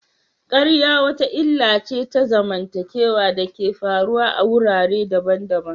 ƙarya wata illa ce ta zamantakewa da ke faruwa a wurare daban-daban.